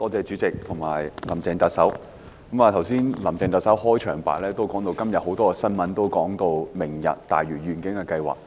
主席，特首在開場白中提到，今天很多報章報道"明日大嶼願景"計劃。